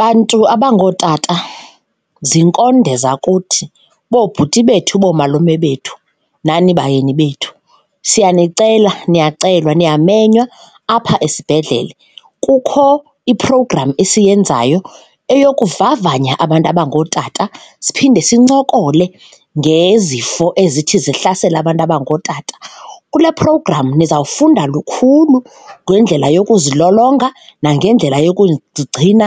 Bantu abangootata, ziinkonde zakuthi, boobhuti bethu, boomalume bethu nani bayeni bethu siyanicela, niyacelwa niyamenywa apha esibhedlele. Kukho i-program esiyenzayo eyokuvavanya abantu abangootata siphinde sincokole ngezifo ezithi zihlasele abantu abangootata. Kule program niza kufunda lukhulu ngendlela yokuzilolonga nangendlela yokugcina